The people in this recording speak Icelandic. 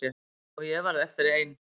Og ég varð eftir ein.